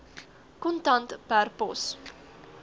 kontant per pos